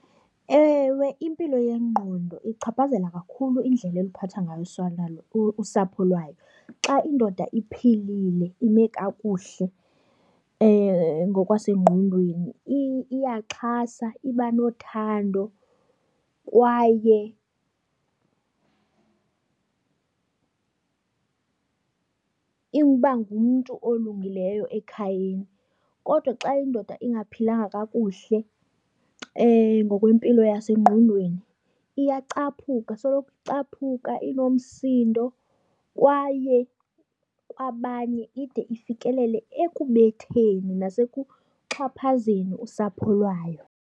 Ewe, impilo yengqondo ichaphazela kakhulu indlela oluphathwa ngayo usapho lwayo. Xa indoda iphilile, ime kakuhle ngokwasengqondweni iyaxhasa, iba nothando kwaye iba ngumntu olungileyo ekhayeni. Kodwa xa indoda ingaphilanga kakuhle ngokwempilo yasengqondweni iyacaphuka, soloko icaphuka inomsindo kwaye kwabanye ide ifikelele ekubetheni nasekuxhaphazeni usapho lwayo.